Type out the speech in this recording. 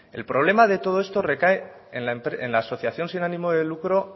el problema de todo esto recae en la asociación sin ánimo de lucro